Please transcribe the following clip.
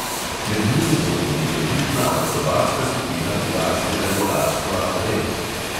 Med njimi bo tudi elitna akrobatska skupina britanskega letalstva red ...